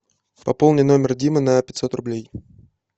пополни номер димы на пятьсот рублей